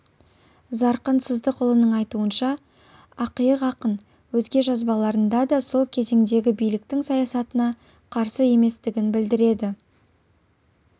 зарқын сыздықұлының айтуынша ақиық ақын өзге жазбаларында да сол кезеңдегі биліктің саясатына қарсы еместігін білдіреді